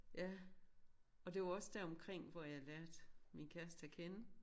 Ja og det var også deromkring hvor jeg lærte min kæreste at kende